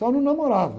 Só não namorava.